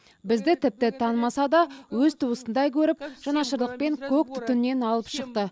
бізді тіпті танымаса да өз туысындай көріп жанашырлықпен көк түтіннен алып шықты